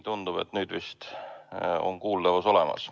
Tundub, et nüüd vist on kuuldavus olemas.